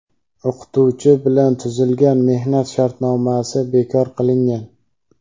o‘qituvchi bilan tuzilgan mehnat shartnomasi bekor qilingan.